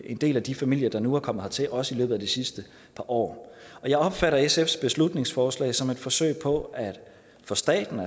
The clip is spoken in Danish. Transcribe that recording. en del af de familier der nu er kommet hertil også i løbet af de sidste par år jeg opfatter sfs beslutningsforslag som et forsøg på at få staten